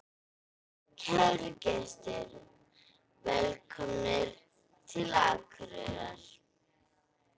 Kæru gestir! Velkomnir til Akureyrar.